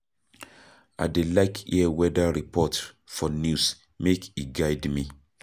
I dey like hear weather report for news make e guide me.